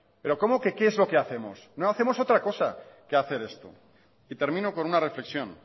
pero cómo que qué es lo que hacemos no hacemos otra cosa que hacer esto y termino con una reflexión